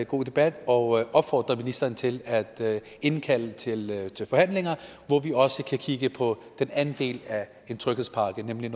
god debat og opfordre ministeren til at indkalde til til forhandlinger hvor vi også kan kigge på den anden del af en tryghedspakke nemlig